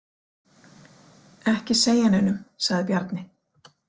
Ekki segja neinum, sagði Bjarni.